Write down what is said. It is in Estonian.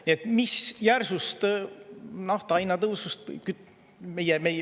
Nii et mis järsust nafta hinnatõusust …